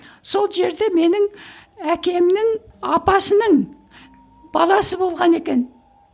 сол жерде менің әкемнің апасының баласы болған екен